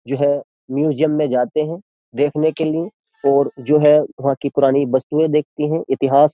जो है म्यूजियम में जाते हैं देखने के लिए और जो है वहाँ की पुरानी वस्तुएं देखती हैं इतिहास --